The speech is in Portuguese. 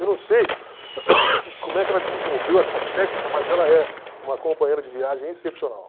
Eu não sei como é que ela desenvolveu essa técnica, mas ela é uma companheira de viagem excepcional.